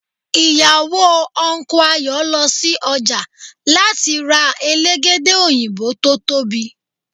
ìyàwó Unku Ayo lọ sí ọjà láti rẹ̀ ra Elégédé òyìnbó tó tóbi